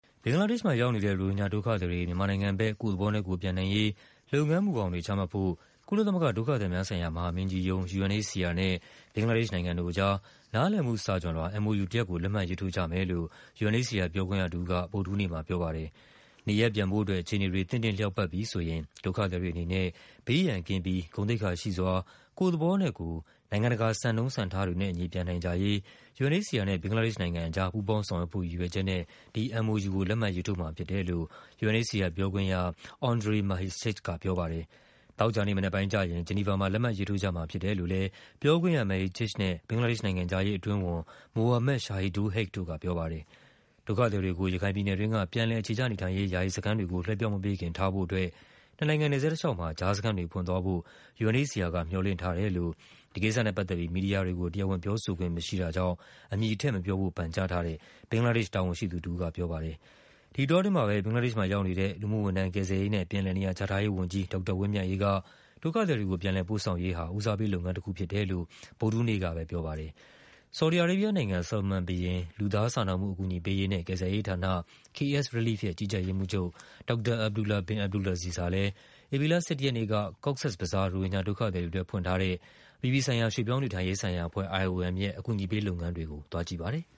ဘင်္ဂလားဒေ့ရှ်မှာရောက်နေတဲ့ ရိုဟင်ဂျာဒုက္ခသည်တွေ မြန်မာနိုင်ငံဘက် ကိုယ့်သဘောနဲ့ကိုယ်ပြန်နိုင်ရေး လုပ်ငန်းမူဘောင်တွေ ချမှတ်ဖို့ ကုလသမဂ္ဂ ဒုက္ခသည်များဆိုင်ရာ မဟာမင်းကြီးရုံး UNHCR နဲ့ ဘင်္ဂလားဒေ့ရှ်နိုင်ငံအကြား နားလည်မှုစာချွန်လွှာ MoU တရပ်ကို လက်မှတ်ရေးထိုးကြမယ်လို့ UNHCR ပြောခွင့်ရတဦးက ဗုဒ္ဓဟူးနေ့မှာပြောပါတယ်။ “နေရပ်ပြန်ဖို့အတွက် အခြေအနေတွေ သင့်တင့်လျောက်ပတ်ပြီဆိုရင် ဒုက္ခသည်တွေအနေနဲ့ ဘေးရန်ကင်းပြီး ဂုဏ်သိက္ခာရှိစွာ ကိုယ့်သဘောနဲ့ကိုယ် နိုင်ငံတကာစံနှုန်းစံံထားတွေနဲ့အညီ ပြန်နိုင်ကြရေး” UNHCR နဲ့ ဘင်္ဂလားဒေ့ရှ်နိုင်ငံအကြား ပူးပေါင်း ဆောင်ရွက်ဖို့ရည်ရွယ်ချက်နဲ့ ဒီ MoU ကို လက်မှတ်ရေးထိုးမှာဖြစ်တယ်လို့ UNHCR ပြောခွင့်ရ Andrej Mahecic က ပြောပါတယ်။ သောကြာနေ့မနက်ပိုင်းကျရင် ဂျီနီဗာမှာ လက်မှတ်ရေးထိုးကြမှာဖြစ်တယ်လို့လည်း ပြောခွင့်ရ Mehcic နဲ့ ဘင်္ဂလား ဒေ့ရှ် နိုင်ငံခြားရေးအတွင်းဝန် Mohammad Shahidul Haque တို့ကပြောပါတယ်။ ဒုက္ခသည်တွေကို ရခိုင်ပြည်နယ်တွင်းက ပြန်လည်အခြေချနေထိုင်ရေး ယာယီစခန်းတွေကို လွှဲပြောင်းမပေးခင် ထားဖို့အတွက် နှစ်နိုင်ငံနယ်စပ်တလျှောက်မှာ ကြားစခန်းတွေဖွင့်သွားဖို့ UNHCR က မျှော်လင့်ထားတယ်လို့ ဒီကိစ္စနဲ့ပတ်သက်ပြီး မီဒီယာတွေကို တရားဝင်ပြောဆိုခွင့်မရှိတဲ့အတွက် အမည်ထည့်မပြောဖို့ ပန်ကြားထားတဲ့ ဘင်္ဂလားဒေ့ရှ်တာဝန်ရှိသူတဦးက ပြောပါတယ်။ ဒီအတောအတွင်းမှာပဲ ဘင်္ဂလားဒေ့ရှ်မှာရောက်နေတဲ့ လူမှုဝန်ထမ်း၊ ကယ်ဆယ်ရေးနဲ့ ပြန်လည်နေရာချထားရေးဝန်ကြီး ဒေါက်တာဝင်းမြတ်အေးက ဒုက္ခသည်တွေကို ပြန်လည်ပို့ဆောင်ရေးဟာ ဦးစားပေးလုပ်ငန်းတခုဖြစ်တယ်လို့ ဗုဒ္ဓဟူးနေ့ကပဲ ပြော ပါတယ်။ ဆော်ဒီအာရေးဘီးယားနိုင်ငံ၊ Salman ဘုရင် လူသားစာနာမှုအကူအညီပေးရေးနဲ့ ကယ်ဆယ်ရေးဌာန KSrelief ရဲ့ ကြီးကြပ်ရေး မှူးချုပ် ဒေါက်တာ Abdullah bin Abdulaziz ဟာလည်း ဧပြီလ ၁၁ ရက်နေ့က Cox’s Bazar ရိုဟင်ဂျာဒုက္ခသည်တွေအတွက် ဖွင့်ထားတဲ့ အပြည်ပြည်ဆိုင်ရာ ရွှေ့ပြောင်းနေထိုင်ရေးဆိုင်ရာအဖွဲ့ IOM ရဲ့ အကူအညီပေးလုပ်ငန်းတွေကို သွားကြည့်ပါတယ်။